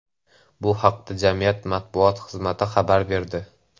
Bu haqda jamiyat matbuot xizmati xabar berdi .